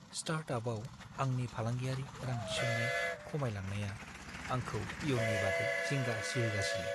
स्टार्टआपआव आंनि फालांगियारि रां-थिसननाय खमायलांनाया आंखौ इयुननि बागै जिंगा सिहोगासिनो।